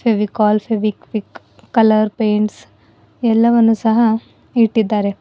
Fevicol Fevikwik colour paints ಎಲ್ಲವನ್ನು ಸಹ ಇಟ್ಟಿದ್ದಾರೆ.